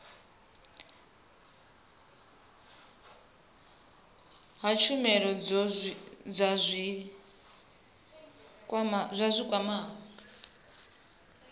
ha tshumelo dza zwi kwamaho